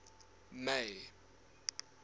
may